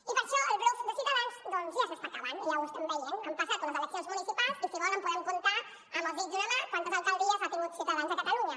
i per això el bluf de ciutadans doncs ja s’està acabant ja ho estem veient han passat unes eleccions municipals i si volen podem comptar amb els dits d’una mà quantes alcaldies ha tingut ciutadans a catalunya